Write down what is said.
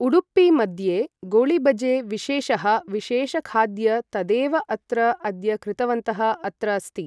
उडुपि मद्ये गोळिबजे विशेषः विशेषखाद्य तदेव अत्र अद्य कृतवन्तः अत्र अस्ति ।